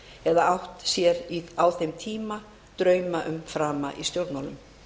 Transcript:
eða átt sér á þeim tíma drauma um frama í stjórnmálum